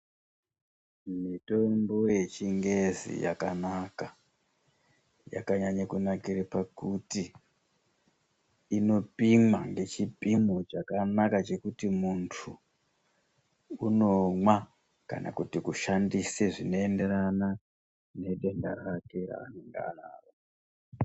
Mitombo yechingezi yakanaka yakanyanye kunakire pakuti inopimwa ngechipimo chakanaka chekuti muntu unomwa. Kana kuti kushandise zvineenderana nedenda rake ranenge anaro.